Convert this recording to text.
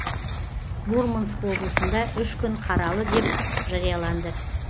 мурманск облысында үш күн қаралы деп жарияланды